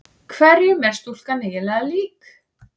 Hverjum er stúlkan eiginlega lík?